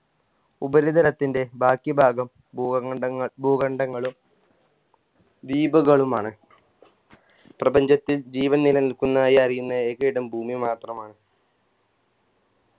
ഉപരിതലത്തിൻറെ ബാക്കി ഭാഗം ഭൂക ഖണ്ഡങ്ങൾ ഭൂഖണ്ഡങ്ങളും ദ്വീപുകളുമാണ് പ്രപഞ്ചത്തിൽ ജീവൻ നിലനിൽക്കുന്നതായി അറിയുന്ന ഏക ഇടം ഭൂമി മാത്രമാണ്